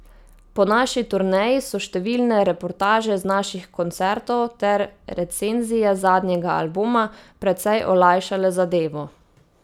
Po naši turneji so številne reportaže z naših koncertov ter recenzije zadnjega albuma precej olajšale zadevo.